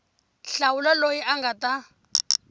hlawula loyi a nga ta